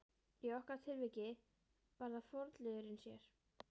Í okkar tilviki var það forliðurinn sér.